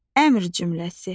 Əmr cümləsi.